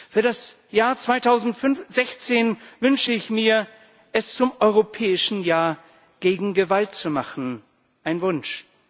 Für das Jahr 2016 wünsche ich mir, es zum Europäischen Jahr gegen Gewalt zu machen ein Wunsch.